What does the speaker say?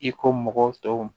I ko mɔgɔw tɔw